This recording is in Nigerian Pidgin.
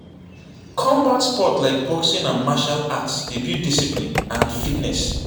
Combat sports like boxing and martial arts dey build discipline and fitness.